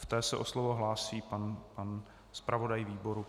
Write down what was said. V té se o slovo hlásí pan zpravodaj výboru.